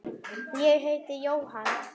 Ég heiti Jóhann.